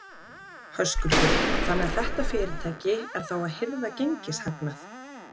Höskuldur: Þannig að þetta fyrirtæki er þá að hirða gengishagnað?